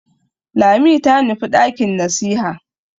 Lami ta nufi ɗakin nasiha.